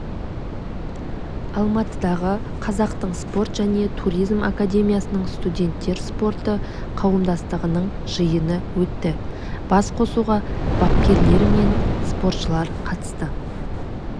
алматыдағы қазақтың спорт және туризм академиясында студенттер спорты қауымдастығының жиыны өтті басқосуға бапкерлер мен спортшылар қатысты